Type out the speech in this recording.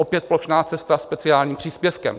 Opět plošná cesta speciálním příspěvkem.